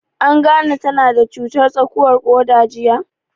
An gane ta na da cutar tsakuwar ƙoda jiya?